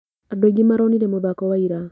Andũ aingĩ maronire mũthako wa ira.